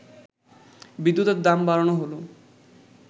বিদ্যুতের দাম বাড়ানো হল